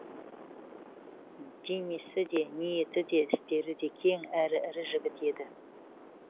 денесі де ниеті де істері де кең әрі ірі жігіт еді